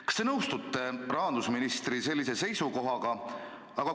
Kas te nõustute rahandusministri sellise seisukohaga?